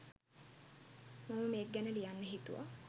මම මේක ගැන ලියන්න හිතුවා.